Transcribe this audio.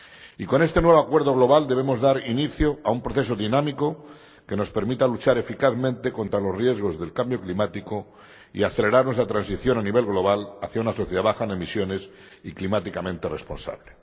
Y con este nuevo acuerdo global debemos dar inicio a un proceso dinámico que nos permita luchar eficazmente contra los riesgos del cambio climático y acelerar nuestra transición a nivel global hacia una sociedad baja en emisiones y climáticamente responsable.